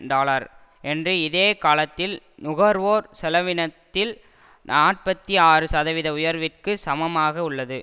dollar என்று இதே காலத்தில் நுகர்வோர் செலவினத்தில் நாற்பத்தி ஆறு சதவீத உயர்விற்கு சமமாக உள்ளது